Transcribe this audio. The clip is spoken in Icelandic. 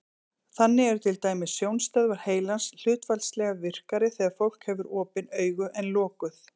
Þannig eru til dæmis sjónstöðvar heilans hlutfallslega virkari þegar fólk hefur opin augu en lokuð.